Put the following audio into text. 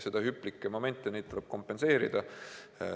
Ja hüplikke momente, neid tuleb kompenseerida.